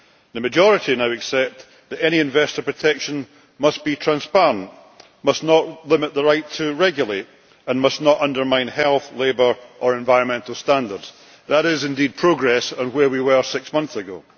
The majority now accept that any investor protection must be transparent, must not limit the right to regulate, and must not undermine health, labour or environmental standards. That is indeed progress on where we were six months ago.